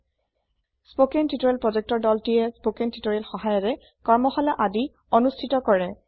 কথন শিক্ষণ প্ৰকল্পৰ দলটিয়ে কথন শিক্ষণ সহায়িকাৰে কৰ্মশালা আদি অনুষ্ঠিত কৰে